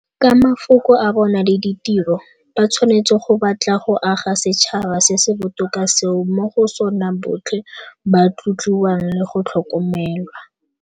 Ka mafoko a bona le ditiro, ba tshwanetse go batla go aga setšhaba se se botoka seo mo go sona botlhe ba tlotliwang le go tlhokomelwa.